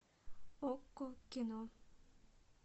окко кино